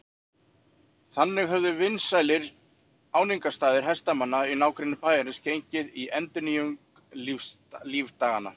Þannig höfðu vinsælir áningarstaðir hestamanna í nágrenni bæjarins gengið í endurnýjung lífdaganna.